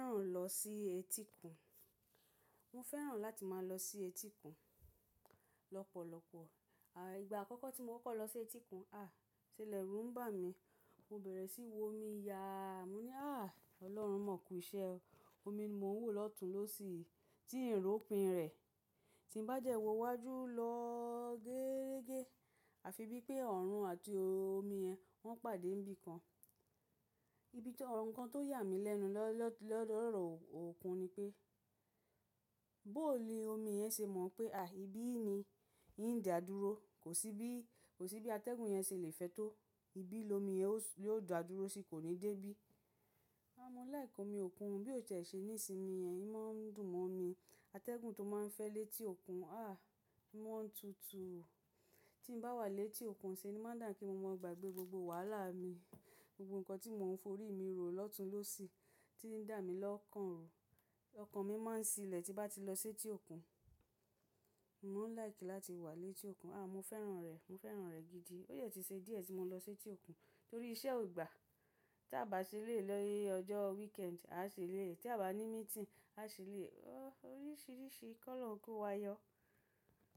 Mo fẹ́ràn lọ sí etíkun. Mo fẹ́ràn láti máa lọ sí etíkun lọ́pọ̀lọpọ̀. À, ìgbà àkọ́kọ́ tí mo kọ́kọ́ lọ sí etíkun, ah, iṣẹ lẹ̀rú ń bà mí. Mo bẹ̀rẹ̀ sí wo omi, yaa mo ní, ah, Ọlọ́run mọ̀ọ́ kù iṣẹ́ omi ni mo ń wò lọ́tun lósì yii, tí ń rópin rẹ̀. Tí n bá dẹ wọ iwájú lọ geerege, a fi bí pé oọ̀run àti omi yẹn wọ́n pàdé n bi kan. Ibi tí orun nkan tó yà mí lẹ́nu lọlolodọ̀ òkun ni pé, bóò ni omi yẹn ṣe mọ̀ pé, àí, ibí ni ń dà dúró. Kò sí bí atẹ́gùn yẹn ṣe le fẹ́tò. Ibí ni omi yẹn lè ó dà dúró sì kò ní dé bí? A mọ likẹ́ omi òkun o bí ó ṣe ń ṣe ní ìsinmi yẹn. Ó máa ń dùn mọ́ mi. Atẹ́gùn tó máa ń fẹ́ létí òkun, ah, ó máa ń tutu. Tí n bá wà létí òkun ṣe ni má ń dà bi pe mo mọ gbàgbé gbogbo wàhálà mi, gbogbo nǹkan tí mo ń forí mi rò lọ́tun-lósì tí ń dà mí lọ́kàn ru. Ọkàn mi máa ń sílẹ̀ tí n bá ti lọ sẹ́tí òkun. Mo máa ń like láti wà létí òkun. Ah, mo fẹ́ràn rẹ̀, mo fẹ́ràn rẹ̀ gidi. Ó dẹ ti ṣe díẹ̀ tí mo lọ sẹ́tí òkun torí iṣẹ́ ó gbà. Tí a bá ṣe eléyi ní ọjọ́ weekend, a ṣe lé. Tí a bá ní meeting, a ṣe lé. Oríṣìíríṣìí ki olorun kó wa yọ.